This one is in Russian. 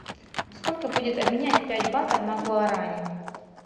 сколько будет обменять пять батов на гуарани